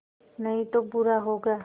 नहीं तो बुरा होगा